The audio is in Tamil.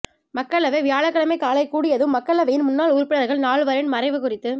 மக்களவை வியாழக்கிழமை காலை கூடியதும் மக்களவையின் முன்னாள் உறுப்பினா்கள் நால்வரின் மறைவு குறித்து